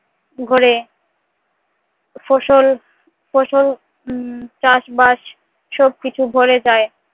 ঘরে ফসল ফসল উম চাষ-বাস সবকিছু ভরে যায়